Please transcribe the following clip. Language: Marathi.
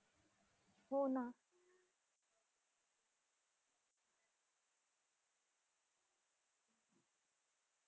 हो ना.